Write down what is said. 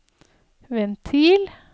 ventil